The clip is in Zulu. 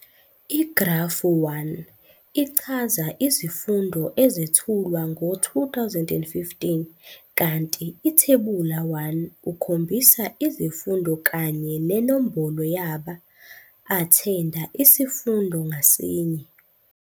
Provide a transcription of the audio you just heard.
I-Grafu 1 ichaza izifundo ezethulwa ngo-2015 kanti iThebula 1 ukhombisa izifundo kanye nenombolo yaba-athenda isifundo ngasinye.